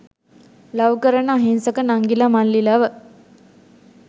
love කරන අහිංසක නංගිල මල්ලිලව